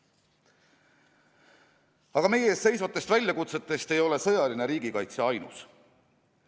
Aga meie ees seisvatest väljakutsetest ei ole sõjaline riigikaitse ainus.